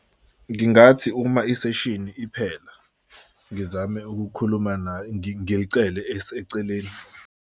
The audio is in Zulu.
Ngingathi uma iseshini iphela, ngizame ukukhuluma naye, ngilicele eseceleni.